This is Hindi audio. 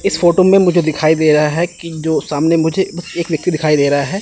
इस फोटो में मुझे दिखाई दे रहा है कि जो सामने मुझे एक व्यक्ति दिखाई दे रहा है।